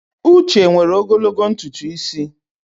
Uche nwere ogologo ntutu isi.